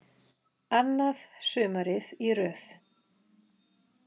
Annað sumarið í röð.